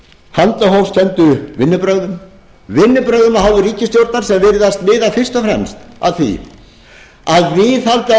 handahófskenndu vinnubrögðum vinnubrögðum af hálfu ríkisstjórnar sem virðast miða fyrst og fremst af því að viðhalda